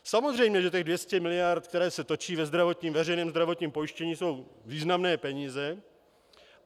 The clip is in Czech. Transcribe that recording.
Samozřejmě že těch 200 mld., které se točí ve veřejném zdravotním pojištění, jsou významné peníze.